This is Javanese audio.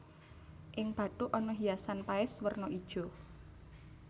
Ing bathuk ana hiasan paes werna ijo